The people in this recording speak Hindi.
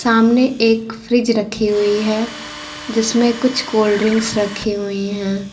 सामने एक फ्रिज रखी हुई है जिसमें कुछ कोल्ड ड्रिंक्स रखे हुई हैं।